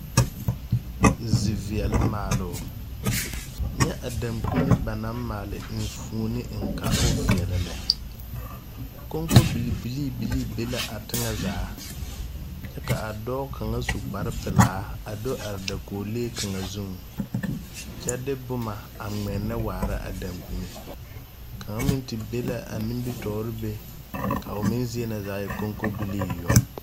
Ziveɛle maaloo nyɛ a dankpine ba naŋ maale enfuone eŋ ka o veɛlɛ lɛ konkobil bilii bilii be la a teŋɛsugɔ zaa kyɛ ka a dɔɔ kaŋa su kparepilaa a do are dakoglee kaŋa zu kyɛ de bomma a ngmɛnnɛ waara a dankyine kaŋa meŋ te be la a nimitoore be ka o meŋ zie na zaa e konkobilii yoŋ.